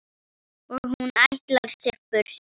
Og hún ætlar sér burt.